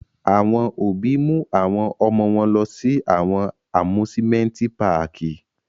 Awọn obi mu awọn ọmọ wọn lọ si awọn Amusimenti Pààki